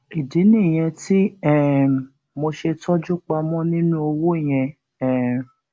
ìdí nìyẹn tí um mo ṣe tọjú pamọ nínú owó yẹn um